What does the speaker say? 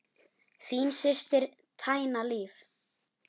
Þín systir, Tanya Líf.